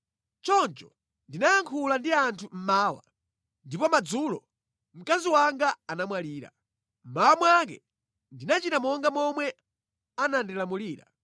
Choncho ndinayankhula ndi anthu mmawa, ndipo madzulo mkazi wanga anamwalira. Mmawa mwake ndinachita monga momwe anandilamulira.